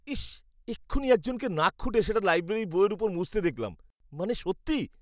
ইশ্, এক্ষুণি একজনকে নাক খুঁটে সেটা লাইব্রেরির বইয়ের ওপর মুছতে দেখলাম। মানে, সত্যি?